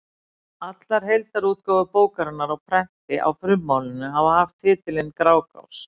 Allar heildarútgáfur bókarinnar á prenti á frummálinu hafa haft titilinn Grágás.